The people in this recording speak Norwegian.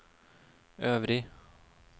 øvrig